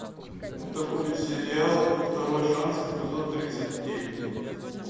это будет сериал второй шанс эпизод тридцать девять